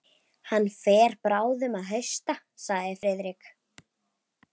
Hann fer bráðum að hausta sagði Friðrik.